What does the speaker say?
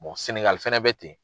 Sɛnɛgali fɛnɛ bɛ ten.